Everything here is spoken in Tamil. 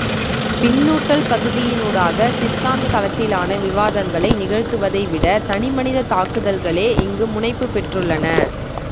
பின்னூட்டல் பகுதியினூடாக சித்தாந்த தளத்திலான விவாதங்களை நிகழ்த்துவதை விட தனிமனித தாக்குதல்களே இங்கு முனைப்பு பெற்றுள்ளன